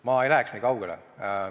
Ma ei läheks nii kaugele.